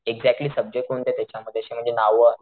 exactly subject कोणते यांच्यामध्ये अशे म्हणजे नाव,